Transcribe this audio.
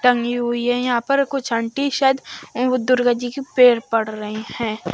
टंगी हुई है यहां पर कुछ आंटी शायद अं दुर्गा जी के पेर पड़ रही हैं।